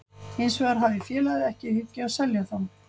Hins vegar hafi félagið ekki í hyggju að selja þá.